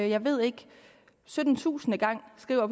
jeg ved ikke sytten tusinde gang skriver